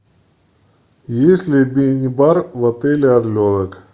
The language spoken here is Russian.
есть ли мини бар в отеле орленок